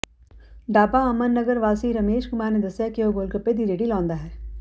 ਡਾਬਾ ਅਮਨ ਨਗਰ ਵਾਸੀ ਰਾਜੇਸ਼ ਕੁਮਾਰ ਨੇ ਦੱਸਿਆ ਕਿ ਉਹ ਗ਼ੋਲਗ਼ੱਪੇ ਦੀ ਰੇਹੜੀ ਲਾਉਂਦਾ ਹੈ